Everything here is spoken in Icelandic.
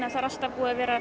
að það er alltaf